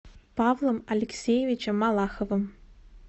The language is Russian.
павлом алексеевичем малаховым